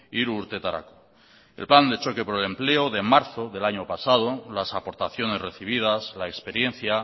hiru urtetarako en plan de choque por el empleo de marzo del año pasado las aportaciones recibidas la experiencia